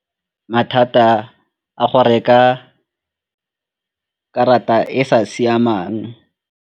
Mathata a go reka karata e sa siamang.